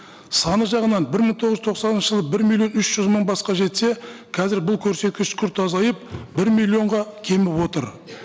саны жағынан бір мың тоғыз жүз тоқсаныншы жылы бір миллион үш жүз мың басқа жетсе қазір бұл көрсеткіш күрт азайып бір миллионға кеміп отыр